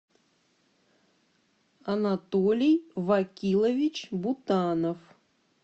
анатолий вакилович бутанов